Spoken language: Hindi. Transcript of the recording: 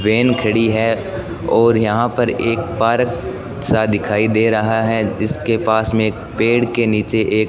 वैन खड़ी है और यहां पर एक पार्क सा दिखाई दे रहा है जिसके पास में पेड़ के नीचे एक--